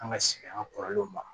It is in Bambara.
An ka segin an ka kɔrɔlenw ma